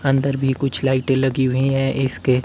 अंदर भी कुछ लाइटें लगी हुई हैं इसके--